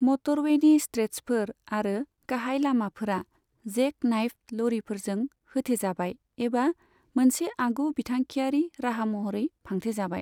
मटरवेनि स्ट्रेट्चफोर आरो गाहाय लामाफोरा जेक नाइफ्ड लरिफोरजों होथेजाबाय एबा मोनसे आगु बिथांखिआरि राहा महरै फांथेजाबाय।